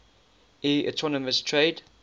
eu autonomous trade